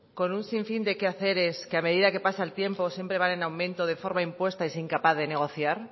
descanso semanal con un sinfín de quehaceres que a medida que pasa el tiempo siempre van en aumento de forma impuesta y sin capacidad de negociar